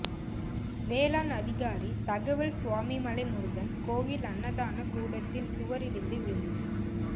வேளாண் அதிகாரி தகவல் சுவாமிமலை முருகன் கோயில் அன்னதான கூடத்தின் சுவர் இடிந்து விழுந்தது